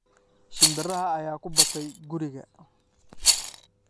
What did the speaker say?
Shimbiraha ayaa ku batay guriga.